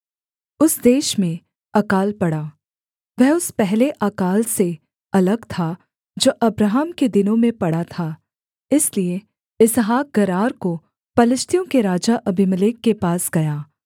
उस देश में अकाल पड़ा वह उस पहले अकाल से अलग था जो अब्राहम के दिनों में पड़ा था इसलिए इसहाक गरार को पलिश्तियों के राजा अबीमेलेक के पास गया